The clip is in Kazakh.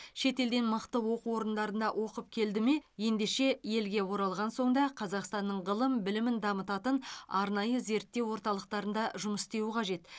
шетелден мықты оқу орындарында оқып келді ме ендеше елге оралған соң да қазақстанның ғылым білімін дамытатын арнайы зерттеу орталықтарында жұмыс істеуі қажет